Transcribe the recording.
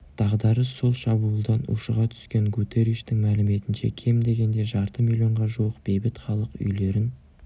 дағдарыс сол шабуылдан ушыға түскен гутерриштің мәліметінше кем дегенде жарты миллионға жуық бейбіт халық үйлерін